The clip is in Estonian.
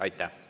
Aitäh!